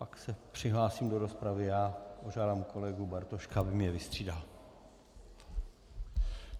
Pak se přihlásím do rozpravy já, požádám kolegu Bartošku, aby mě vystřídal.